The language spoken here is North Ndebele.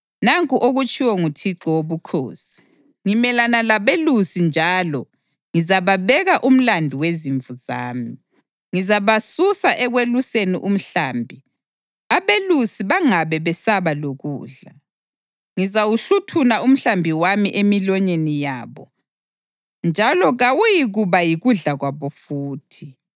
Nanku okutshiwo nguThixo Wobukhosi: Ngimelana labelusi njalo ngizababeka umlandu wezimvu zami. Ngizabasusa ekweluseni umhlambi, abelusi bangabe besaba lokudla. Ngizawuhluthuna umhlambi wami emilonyeni yabo, njalo kawuyikuba yikudla kwabo futhi.